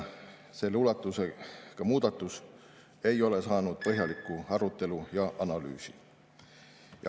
Selle ulatusega muudatus ei ole saanud põhjalikku arutelu ega analüüsi.